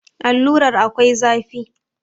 Allurar akwai zafi